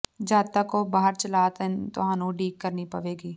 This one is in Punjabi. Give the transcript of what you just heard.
ਜਦ ਤੱਕ ਉਹ ਬਾਹਰ ਚਲਾ ਤੁਹਾਨੂੰ ਉਡੀਕ ਕਰਨੀ ਪਵੇਗੀ